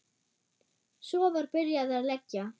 Svo var byrjað að leggja.